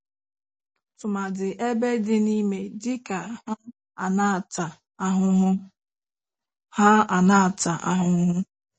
Tụmadi ebe dị n'ime dị ka ha ana-ata ahụhụ ha ana-ata ahụhụ